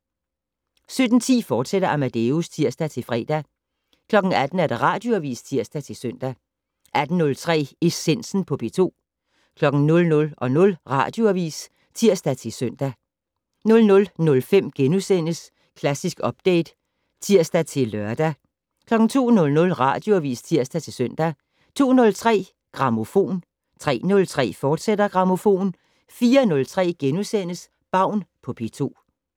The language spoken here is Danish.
17:10: Amadeus, fortsat (tir-fre) 18:00: Radioavis (tir-søn) 18:03: Essensen på P2 00:00: Radioavis (tir-søn) 00:05: Klassisk Update *(tir-lør) 02:00: Radioavis (tir-søn) 02:03: Grammofon 03:03: Grammofon, fortsat 04:03: Baun på P2 *